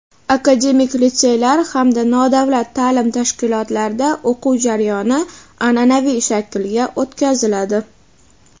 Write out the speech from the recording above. akademik litseylar hamda nodavlat taʼlim tashkilotlarida o‘quv jarayoni anʼanaviy shaklga o‘tkaziladi.